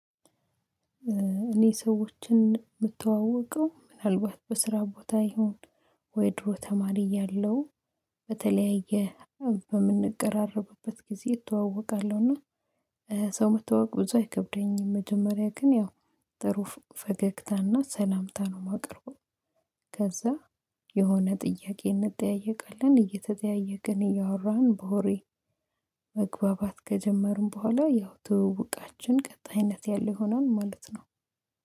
እኔ ሰዎችን የምተዋወቀው ምናልባት በስራ ቦታ ይሁን ወይ ድሮ ተማሪ ያለው በተለያየ በምንቀራረብበት ጊዜ እተዋወቃለሁ። እና ሰው መተዋወቅ እዛው አይከብደኝም መጀመሪያ ግን ያው ጥሩ ፈገግታና ሰላምታ ነው የማቀርበው። ከዛ የሆነ ጥያቄ እንጠያየቃለን እየተጠያየቅን እያወራን በሆሬ በወሬ መግባባት ከጀመርን በኋላ። ያው ትውውቃችን ቀጣ ይነት ያለ ይሆናል ማለት ነው